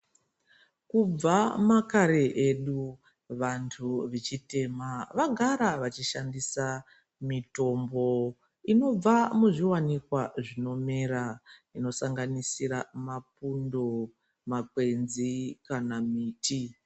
Kubva makare edu vantu vechitema vaigara vachishandisa Mititombo inobva muzviwanikwa zvinomera zvinosanganisira mapundo makwenzi kana miti.